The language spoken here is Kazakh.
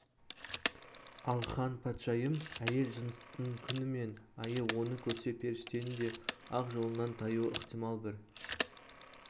ал хан патшайым әйел жыныстысының күн мен айы оны көрсе періштенің де ақ жолынан таюы ықтимал бір